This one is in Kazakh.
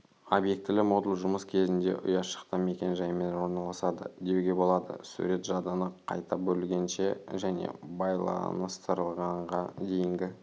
обьектілі модуль жұмыс кезінде ұяшықта мекен-жаймен орналасады деуге болады сурет жадыны қайта бөлгенше және байланыстырғанға дейінгі